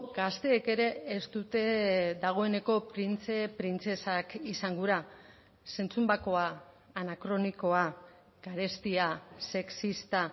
gazteek ere ez dute dagoeneko printze printzesak izan gura zentzun bakoa anakronikoa garestia sexista